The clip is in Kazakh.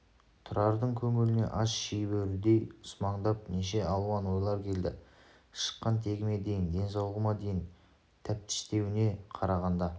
тұрардың көңіліне аш шиебөрідей сумаңдап неше алуан ойлар келді шыққан тегіме дейін денсаулығыма дейін тәптіштеуіне қарағанда